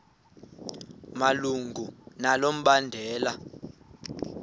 malunga nalo mbandela